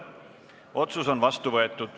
Otsus on vastu võetud.